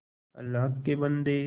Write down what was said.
अल्लाह के बन्दे